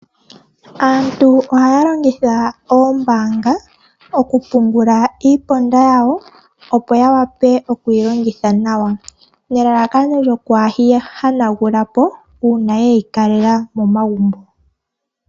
Aantu ohaya longitha oombaanga, okupungula iiponda yawo, opo yawape okuyi longitha nawa, nelalakano kaayeyi hanagulepo, uuna yeyi kalela momagumbo.